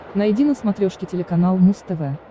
найди на смотрешке телеканал муз тв